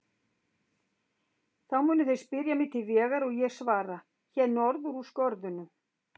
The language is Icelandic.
Þá munu þeir spyrja mig til vegar og ég svara: Hér norður úr skörðunum.